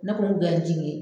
Ne ko mun ye